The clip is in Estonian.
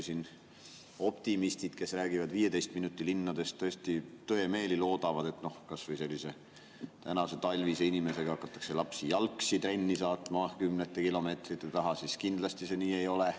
Siin küll optimistid räägivad 15 minuti linnadest ja tõemeeli loodavad, et kas või tänase talvise hakatakse lapsi jalgsi trenni saatma kümnete kilomeetrite taha, aga nii see kindlasti ei ole.